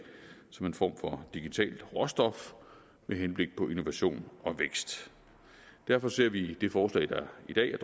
som en form for digitalt råstof med henblik på innovation og vækst derfor ser vi det forslag der i dag